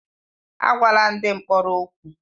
Agwala ndị mkpọrọ okwu!